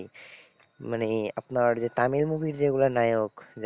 মানে আপনার যে তামিল movie র যেগুলো নায়ক,